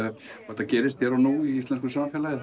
þetta gerist hér og nú í íslensku samfélagi